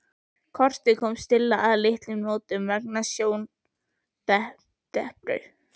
Kortið kom Stulla að litlum notum vegna sjóndepru.